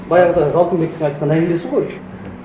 баяғыдағы алтынбектің айтқан әңгімесі ғой мхм